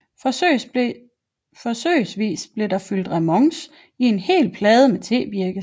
Forsøgsvis blev der fyldt remonce i en hel plade med tebirkes